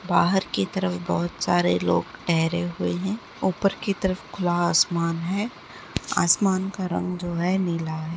बाहर की तरफ बहुत सारे लोग ठहरे हुए हैं ऊपर की तरफ खुला आसमान है आसमान का रंग जो है नीला है।